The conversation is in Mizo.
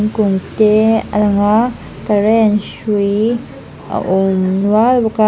kung te alanga current hrui a awm nual bawka.